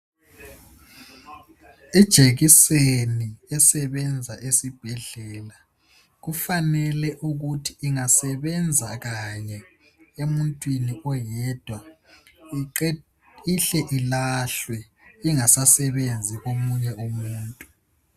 Ijekiseni esebenza esibhedlela kufanele ukuthi ingasebenza kanye emuntwini oyedwa iqe ihle ilahlwe ingasasebenzi komunye umuntu.